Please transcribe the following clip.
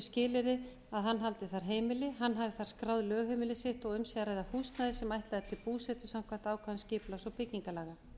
skilyrði að hann haldi þar heimili hann hafi þar skráð lögheimili sitt og um sé að ræða húsnæði sem ætlað er til búsetu samkvæmt ákvæðum skipulags og byggingarlaga